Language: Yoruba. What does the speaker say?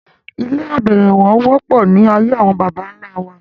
Ilé abẹ̀rẹ̀wọ̀ wọ́pọ̀ ní ayé àwọn bàbà ńlá wa